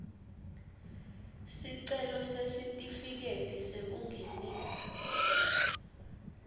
sicelo sesitifiketi sekungenisa